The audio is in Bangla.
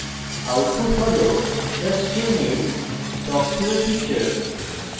output হল the string is talk to a teacher